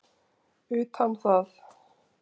utan það.